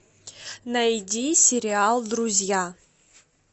найди сериал друзья